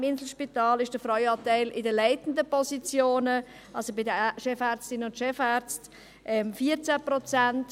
Im Inselspital liegt der Frauenanteil in den leitenden Positionen, also bei den Chefärztinnen und Chefärzten, bei 14 Prozent.